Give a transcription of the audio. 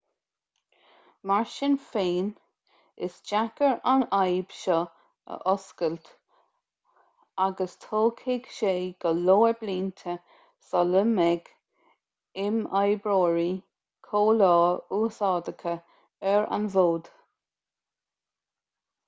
mar sin féin is deacair an fhadhb seo a fhuascailt agus tógfaidh sé go leor blianta sula mbeidh imoibreoirí comhleá úsáideacha ar an bhfód